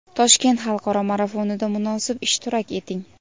Toshkent xalqaro marafonida munosib ishtirok eting!.